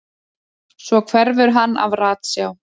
Svo hverfur hann af ratsjá.